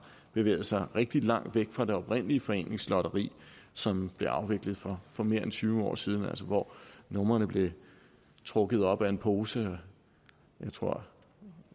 bevæget sig rigtig langt væk fra det oprindelige foreningslotteri som blev afviklet for for mere end tyve år siden altså hvor numrene blev trukket op af en pose jeg tror